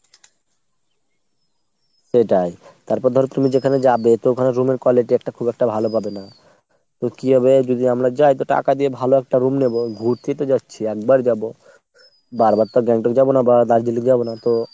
সেটাই। তারপর ধরো তুমি যেখানে যাবে তো ওখানে room এর quality খুব একটা ভালো পাবে না। তো কি হবে যদি আমরা যাই তো টাকা দিয়ে ভালো একটা room নেবো, ঘুরতে তো যাচ্ছি একবার যাবো। বার বার তো Gangtok যাবো না বা Darjeeling যাবো না তো,